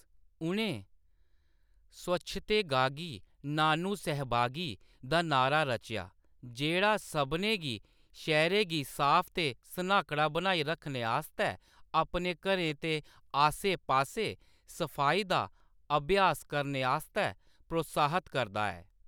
उʼनें 'स्वच्छतेगागि नानु सहभागि' दा नारा रचेआ, जेह्‌‌ड़ा सभनें गी शैह्‌रै गी साफ ते सन्हाकड़ा बनाई रक्खने आस्तै अपने घरें ते आस्सै-पास्सै सफाई दा अभ्यास करने आस्तै प्रोत्साहत करदा ऐ।